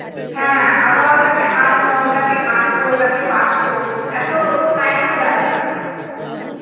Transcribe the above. হ্যাঁ আবার ওটাকে আনো, ওটাকে কাটো, ওটাকে বাছো এত time ও যায় না.